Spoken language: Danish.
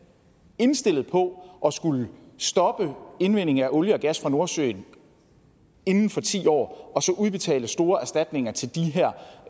indstillet på at skulle stoppe indvinding af olie og gas fra nordsøen inden for ti år og så udbetale store erstatninger til de her